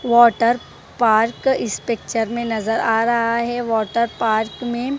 water park इस picture में नजर आ रहा है वाटर पार्क में--